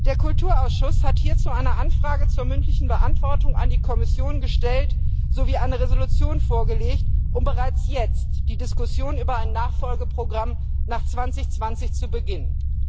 Der Kulturausschuss hat hierzu eine Anfrage zur mündlichen Beantwortung an die Kommission gestellt sowie eine Resolution vorgelegt, um bereits jetzt die Diskussion über ein Nachfolgeprogramm nach 2020 zu beginnen.